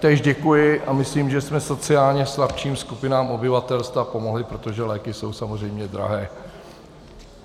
Též děkuji a myslím, že jsme sociálně slabším skupinám obyvatelstva pomohli, protože léky jsou samozřejmě drahé.